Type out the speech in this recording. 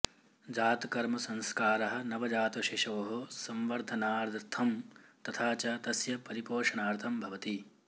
जातकर्मसंस्कारः नवजातशिशोः संवर्धनार्थं तथा च तस्य परिपोषणार्थं भवति